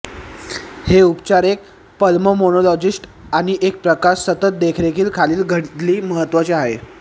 हे उपचार एक पल्मोनोलॉजिस्ट आणि एक प्रकाश सतत देखरेखीखाली घडली महत्वाचे आहे